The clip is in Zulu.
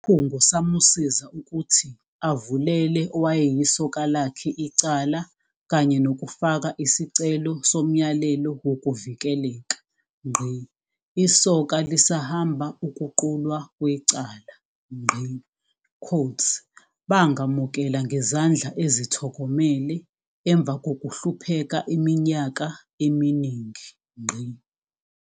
Isikhungo samusiza ukuthi avulele owayeyisoka lakhe icala kanye nokufaka isicelo somyalelo wokuvikeleka. Isoka lisahamba ukuqulwa kwecala. "Bangamukela ngezandla ezithokomele emva kokuhlupheka iminyaka eminingi."